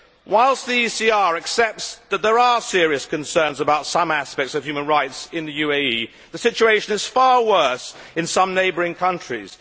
Whilst the ECR Group accepts that there are serious concerns about some aspects of human rights in the UAE, the situation is far worse in some neighbouring countries.